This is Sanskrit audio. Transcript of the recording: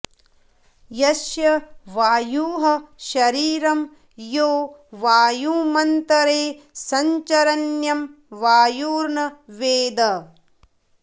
यस्य वायुः शरीरं यो वायुमन्तरे संचरन्यं वायुर्न वेद